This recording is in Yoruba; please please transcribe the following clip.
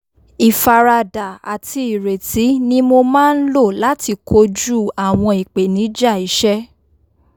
ífaradà àti ìrètí ni mo máa n lò láti kojú àwọn ìpèníjà iṣẹ́